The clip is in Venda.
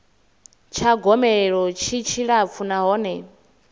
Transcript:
tsha gomelelo tshi tshilapfu nahone